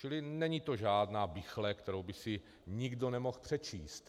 Čili není to žádná bichle, kterou by si nikdo nemohl přečíst.